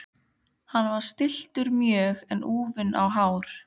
Hann var stilltur mjög en úfinn á hár.